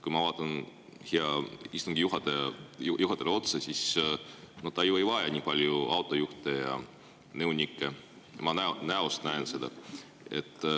Kui ma vaatan heale istungi juhatajale otsa, siis ma näen ta näost, et ta ei vaja ju nii palju autojuhte ja nõunikke.